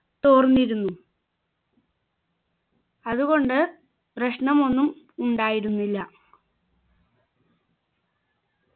തോർന്നിരുന്നു അതുകൊണ്ട് പ്രശ്നമൊന്നും ഉണ്ടായിരുന്നില്ല